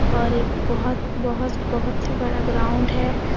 और एक बोहोत -बोहोत बोहोत ही बड़ा ग्राउंड है।